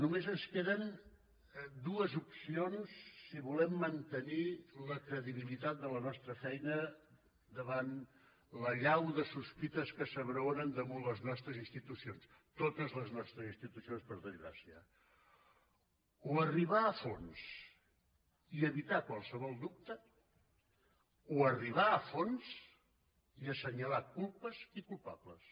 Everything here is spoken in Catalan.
només ens queden dues opcions si volem mantenir la credibilitat de la nostra feina davant l’allau de sospites que s’abraonen damunt les nostres institucions totes les nostres institucions per desgràcia o arribar a fons i evitar qualsevol dubte o arribar a fons i assenyalar culpes i culpables